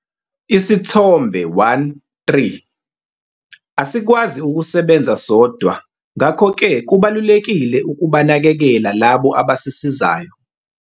Isithombe 1 3- Asikwazi ukusebenza sodwa ngakho ke kubalulekile ukubanakekela labo abasisizayo.